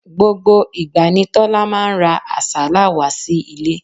Gbogbo ìgbà ni Tọ́lá máa ń ra àsálà wá sí ilé.